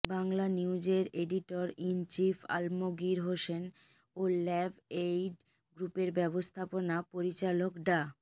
বাংলানিউজের editor in chief Alamgir Hossain ও ল্যাবএইড গ্রুপের ব্যবস্থাপনা পরিচালক ডা